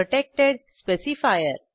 protected specifier